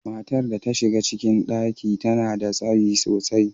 Matar da ta shiga ciki, ta nada tsayi sosai.